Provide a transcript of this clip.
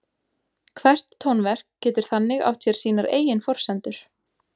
Hvert tónverk getur þannig átt sér sínar eigin forsendur.